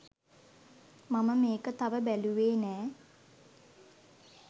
මම මේක තව බැලුවේ නෑ.